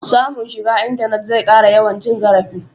Samun shiga intanet zai ƙara yawan cin zarafi.